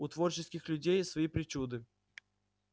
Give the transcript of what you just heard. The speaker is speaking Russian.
у творческих людей свои причуды